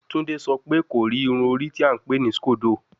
Tunde sọ pe ko ri irun ori ti a npè ni scodo